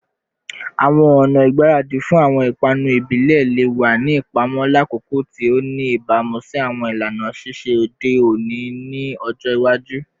Awọn ọna igbaradi fun awọn ipanu ibile le wa ni ipamọ lakoko ti o ni ibamu si awọn ilana sise ode oni ni ọjọ iwaju